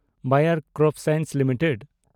ᱵᱟᱭᱟᱨ CropScience limited